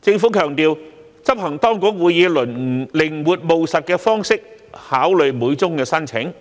政府強調，執行當局會以靈活務實的方式考慮每宗申請，